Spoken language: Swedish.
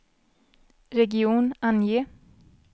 region, ange